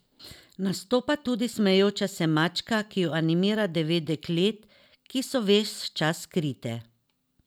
Nastopa tudi smejoča se mačka, ki jo animira devet deklet, ki so ves čas skrite.